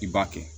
I b'a kɛ